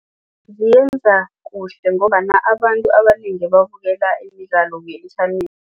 Ziyenza kuhle ngombana abantu abanengi babukela imidlalo